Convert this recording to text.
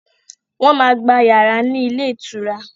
Wọ́n máa gba yàrá ní ilé ìtura.